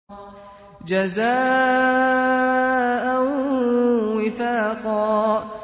جَزَاءً وِفَاقًا